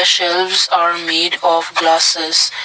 shelves are made of glasses.